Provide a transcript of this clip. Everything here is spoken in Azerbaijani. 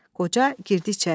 Qoca girdi içəriyə.